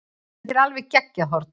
Þetta var alveg geggjað horn.